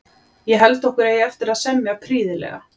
Ég held okkur eigi eftir að semja prýðilega.